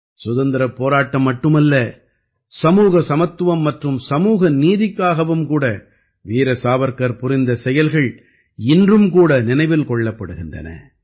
சுதந்திரப் போராட்டம் மட்டுமல்ல சமூக சமத்துவம் மற்றும் சமூகநீதிக்காகவும் கூட வீர சாவர்க்கர் புரிந்த செயல்கள் இன்றும் கூட நினைவில் கொள்ளப்படுகின்றன